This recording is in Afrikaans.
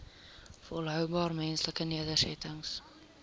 volhoubare menslike nedersettings